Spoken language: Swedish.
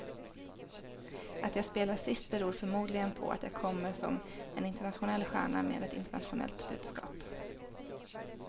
Att jag spelar sist beror förmodligen på att jag kommer som en internationell stjärna med ett internationellt budskap.